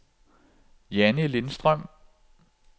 Jannie Lindstrøm